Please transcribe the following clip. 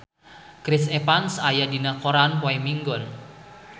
Chris Evans aya dina koran poe Minggon